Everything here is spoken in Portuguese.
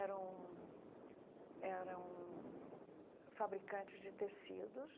Eram eram fabricantes de tecidos